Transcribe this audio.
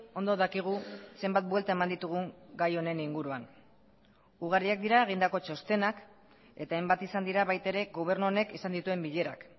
ondo dakigu zenbat buelta eman ditugun gai honen inguruan ugariak dira egindako txostenak eta hainbat izan dira baita ere gobernu honek izan dituen bilerak